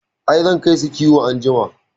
I, zan kai su kiwo anjima